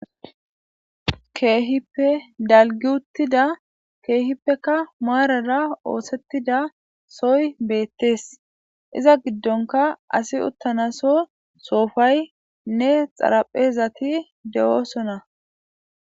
keehippe dalgi uttida keehippeka maarara oosettida soy beettees iza giddonka asi uttanaso soofay nne xaraphezati de7oosona.